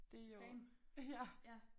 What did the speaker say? Same ja